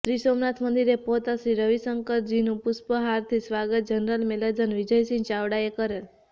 શ્રી સોમનાથ મંદિરે પહોચતા શ્રી શ્રી રવિશંકરનુ પુષ્પહારથી સ્વાગત જનરલ મેનેજર વિજયસિંહ ચાવડાએ કરેલ